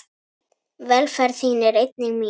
Velferð þín er einnig mín.